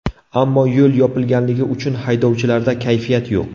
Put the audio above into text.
Ammo yo‘l yopilganligi uchun haydovchilarda kayfiyat yo‘q.